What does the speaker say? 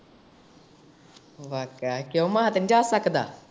ਵਾਹ ਕਯਾ ਏ, ਕਯੋਂ ਮਾਂ ਤੇ ਨੀ ਜਾ ਸਕਦਾ?